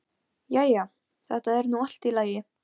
Og á vissan hátt samgleðst ég henni.